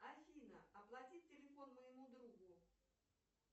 афина оплатить телефон моему другу